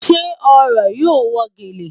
Ṣe ọ̀rọ̀ yóò wọ́ gẹ́lẹ́?